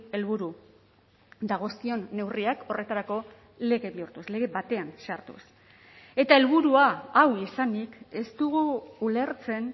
helburu dagozkion neurriak horretarako lege bihurtuz lege batean sartuz eta helburua hau izanik ez dugu ulertzen